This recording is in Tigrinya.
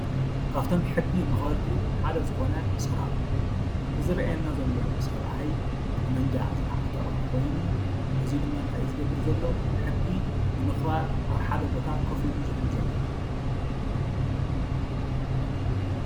ካብቶም ሕጊ መክበርቲ ሓደ ዝኮነ ሰራዊት እዩ። እዚ ዝረኣየና ዘሎ ሰብኣይ ጠንበጃ ዝተዓጠቀ ኮይኑ እዙይ ድማ እንታይ እዩ ዝገብር ዘሎ ሕጊ ንምኸባር ኣበ ሓደ ቦታ ኮፍ ኢሉ እዩ ዝሕሉ ዘሎ።